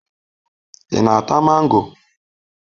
Ị na-ata mango?